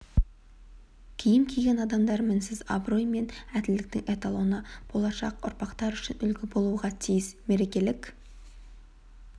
киім киген адамдар мінсіз абырой мен әділдіктің эталоны болашақ ұрпақтар үшін үлгі болуға тиіс мерекелік